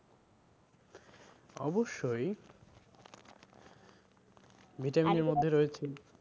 অব্যশই vitamin এর মধ্যে রয়েছে